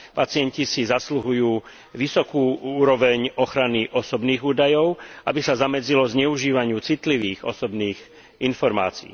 Pacienti si zasluhujú vysokú úroveň ochrany osobných údajov, aby sa zamedzilo zneužívaniu citlivých osobných informácií.